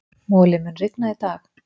Moli, mun rigna í dag?